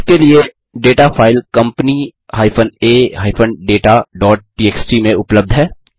इसके लिए data file company a dataटीएक्सटी में उपलब्ध है